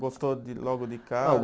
Gostou de logo de cara?